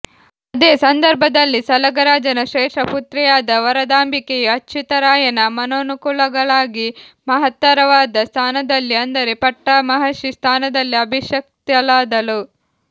ಅದೇ ಸಂದರ್ಭದಲ್ಲಿ ಸಲಗರಾಜನ ಶ್ರೇಷ್ಠಪುತ್ರಿಯಾದ ವರದಾಂಬಿಕೆಯು ಅಚ್ಯುತರಾಯನ ಮನೋನುಕೂಲಳಾಗಿ ಮಹತ್ತರವಾದ ಸ್ಥಾನದಲ್ಲಿ ಅಂದರೆ ಪಟ್ಟ ಮಹಿಷಿ ಸ್ಥಾನದಲ್ಲಿ ಅಭಿಷಿಕ್ತಳಾದಳು